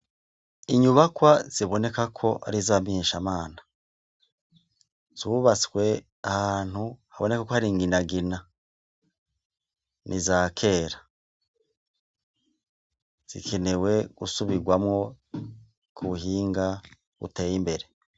Inyubakwa ziboneka ko ari iz'abamenyeshamana. Zubatswe ahantu haboneka ko ari inginagina. Ni iza kera, zikenewe gusubirwamwo ku buhinga buteye imbere .